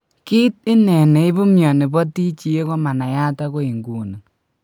Kit ine ne ipu mioni po TGA komanayat agoi nguni.